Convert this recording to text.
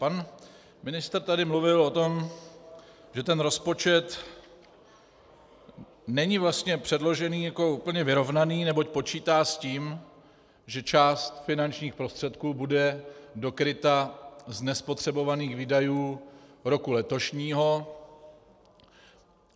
Pan ministr tady mluvil o tom, že ten rozpočet není vlastně předložený jako úplně vyrovnaný, neboť počítá s tím, že část finančních prostředků bude dokryta z nespotřebovaných výdajů roku letošního.